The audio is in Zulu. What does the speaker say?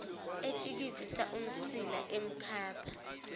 etshikizisa umsila emkhapha